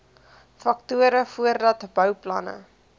faktore voordat bouplanne